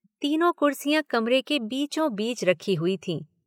तीनों कुर्सियां कमरे के बीचों बीच रखी हुई थीं।